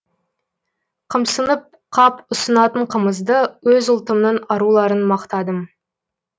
қымсынып қап ұсынатын қымызды өз ұлтымның аруларын мақтадым